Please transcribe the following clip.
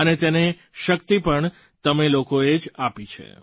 અને તેને શક્તિ પણ તમે લોકોએ જ આપી છે